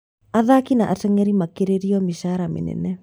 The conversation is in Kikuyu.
Athaki na ateng'eri makerĩrwo mĩcara mĩnene